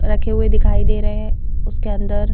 रखे हुए दिखाई दे रहे हैं उसके अंदर--